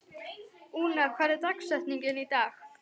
Úna, hver er dagsetningin í dag?